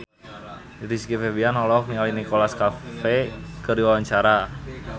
Rizky Febian olohok ningali Nicholas Cafe keur diwawancara